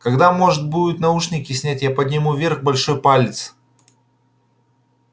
когда может будет наушники снять я подниму вверх большой палец